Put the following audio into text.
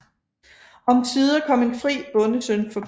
Omsider kom en fri bondesøn forbi